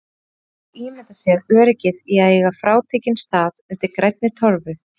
Enginn getur ímyndað sér öryggið í að eiga frátekinn stað undir grænni torfu.